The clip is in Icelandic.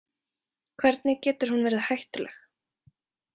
Hvernig getur hún verið hættuleg?